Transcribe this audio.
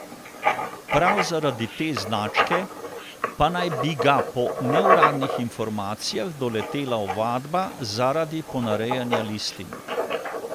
Prav zaradi te značke pa naj bi ga po neuradnih informacijah doletela ovadba zaradi ponarejanja listin.